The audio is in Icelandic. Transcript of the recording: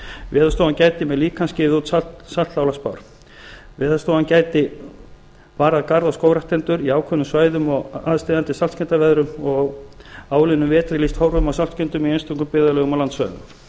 veðurstofan gæti með hjálp líkansins gefið út saltálagsspár veðurstofan gæti varað garð og skógræktendur á ákveðnum svæðum við aðsteðjandi saltskemmdaveðrum og á áliðnum vetri lýst horfum á saltskemmdum í einstökum byggðarlögum og landsvæðum